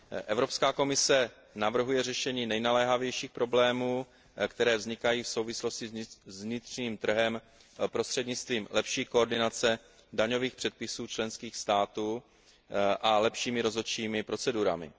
Evropská komise navrhuje řešení nejnaléhavějších problémů, které vznikají v souvislosti s vnitřním trhem, prostřednictvím lepší koordinace daňových předpisů členských států a lepšími rozhodčími procedurami.